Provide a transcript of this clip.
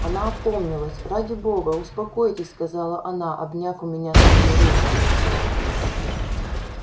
она опомнилась ради бога успокойтесь сказала она обняв у меня свою руку